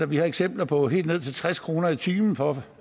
vi har eksempler på helt ned til tres kroner i timen for